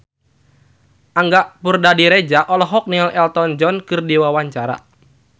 Angga Puradiredja olohok ningali Elton John keur diwawancara